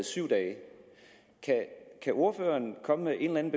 syv dage kan ordføreren komme med en